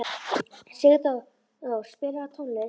Sigdór, spilaðu tónlist.